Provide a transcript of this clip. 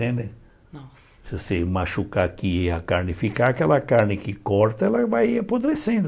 Se você machucar aqui e a carne ficar, aquela carne que corta ela vai apodrecendo.